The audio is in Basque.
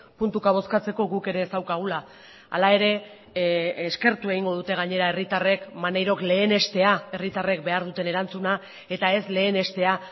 puntuka bozkatzeko guk ere ez daukagula hala ere eskertu egingo dute gainera herritarrek maneirok lehenestea herritarrek behar duten erantzuna eta ez lehenestea